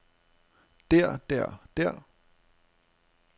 der der der